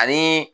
Ani